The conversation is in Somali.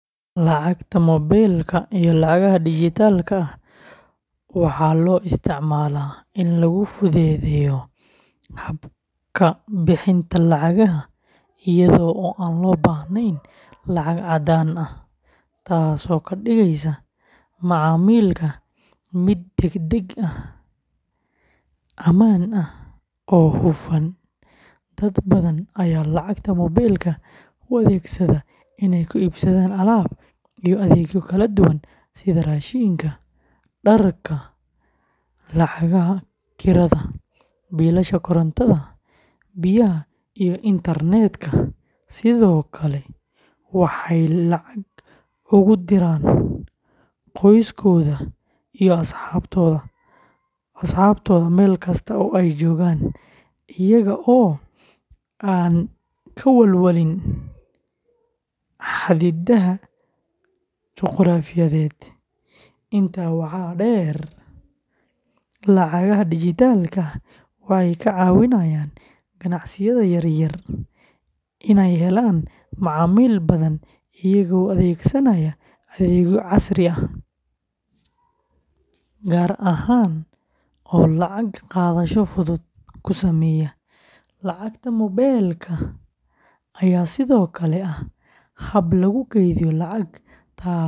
Lacagta moobilka iyo lacagaha dijitaalka ah waxaa loo isticmaalaa in lagu fududeeyo habka bixinta lacagaha iyada oo aan loo baahnayn lacag caddaan ah, taasoo ka dhigeysa macaamilka mid degdeg ah, ammaan ah, oo hufan. Dad badan ayaa lacagta moobilka u adeegsada inay ku iibsadaan alaab iyo adeegyo kala duwan sida raashinka, dharka, lacagaha kirada, biilasha korontada, biyaha iyo internetka, sidoo kale waxay lacag ugu diraan qoysaskooda iyo asxaabtooda meel kasta oo ay joogaan iyaga oo aan ka walwalin xaddidaadaha juquraafiyeed. Intaa waxaa dheer, lacagaha dijitaalka ah waxay ka caawinayaan ganacsiyada yaryar inay helaan macaamiil badan iyagoo adeegsanaya adeegyo casri ah gaar ah oo lacag qaadasho fudud ku sameeya. Lacagta moobilka ayaa sidoo kale ah hab lagu kaydiyo lacag, taas oo.